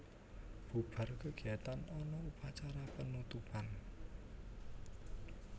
Bubar kegiatan ana upacara penutupan